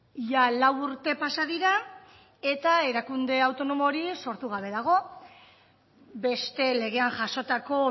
ia lau urte pasa dira eta erakunde autonomo hori sortu gabe dago beste legean jasotako